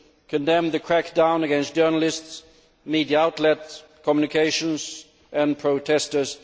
we condemn the crackdown against journalists, media outlets, communications and protestors.